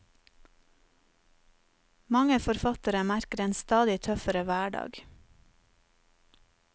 Mange forfattere merker en stadig tøffere hverdag.